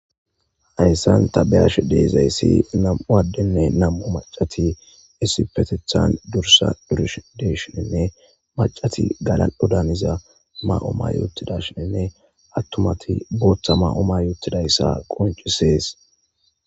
Hayssan ta beyash deezayssi nam'u addenne nam'u macati issi petethan dursa durish deshinenne macati galan'o daaniza ma'o ma yoottidashinenne attumati booththa ma'oma yootidayssa qoncisees